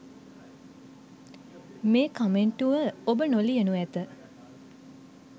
මේ කමෙන්ටුව ඔබ නොලියනු ඇත.